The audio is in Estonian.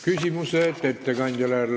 Küsimused ettekandjale.